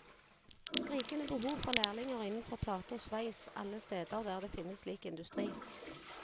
Skrikende behov for lærlinger innenfor plate og sveis alle steder der det finnes slik industri.